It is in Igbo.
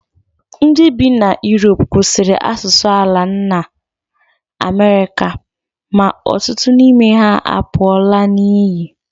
Ndị bi na Europe kwụsịrị asụsụ ala nna Amerịka, ma ọtụtụ n'ime ha apụọla n'iyi